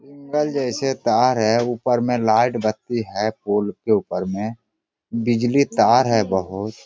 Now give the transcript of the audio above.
Angle जैसे तार है ऊपर में लाइट बत्ती है पूल के ऊपर में बिजली तार है बहुत।